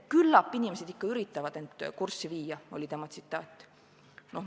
Küllap inimesed ikka üritavad end kurssi viia, oli tema vastus.